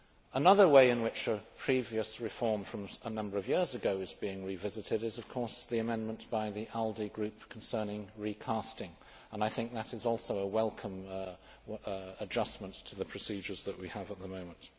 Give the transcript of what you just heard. Another way in which a previous reform from a number of years ago is being revisited is the amendment by the ALDE Group concerning recasting. I think that is also a welcome adjustment to the procedures that we have at the moment.